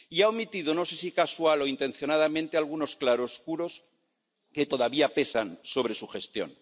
Y ha omitido, no sé si casual o intencionadamente, algunos claroscuros que todavía pesan sobre su gestión.